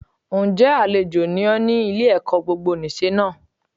Ǹ jẹ́ àlejò ni ọ́ ní Ile ẹ̀kọ́ gbogbonìse náà